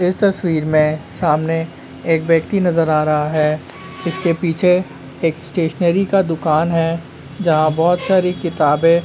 इस तस्वीर में सामने एक व्यक्ति नजर आ रहा है इसके पीछे एक स्टेशनरी का दुकान है जहां बहुत सारी किताबें --